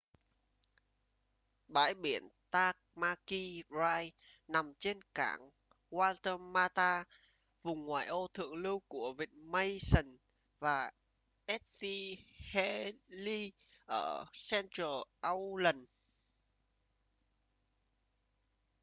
bãi biển tamaki drive nằm trên cảng waitemata vùng ngoại ô thượng lưu của vịnh mission và st heliers ở central auckland